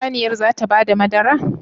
Shin saniyar zata bada madara?